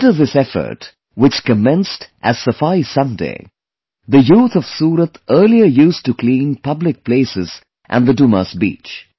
Under this effort, which commenced as 'Safai Sunday', the youth of Suratearlier used to clean public places and the Dumas Beach